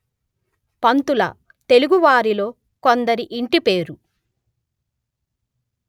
పంతుల తెలుగువారిలో కొందరి ఇంటిపేరు